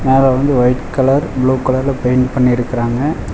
மேல வந்து white colour blue கலர்ல பெயிண்ட் பண்ணிருக்றாங்க.